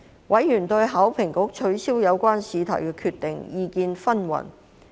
委員對香港考試及評核局取消有關試題的決定意見紛紜。